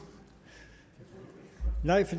nej